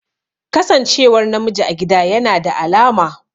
Kasancewar namiji a gida yana da alama